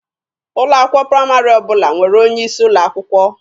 Ụlọ akwụkwọ praịmarị ọbụla nwere onye isi ụlọ akwụkwọ.